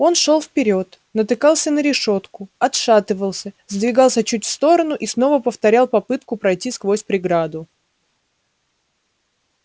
он шёл вперёд натыкался на решётку отшатывался сдвигался чуть в сторону и снова повторял попытку пройти сквозь преграду